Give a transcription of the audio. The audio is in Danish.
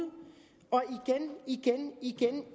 igen